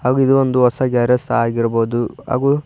ಹಾಗೂ ಇದು ಒಂದು ಹೊಸ ಗ್ಯಾರೇಜ್ ಸಹ ಆಗಿರಬಹುದು ಹಾಗೂ--